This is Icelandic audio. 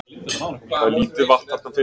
Það er lítið vatn þarna fyrir